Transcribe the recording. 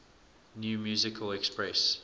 new musical express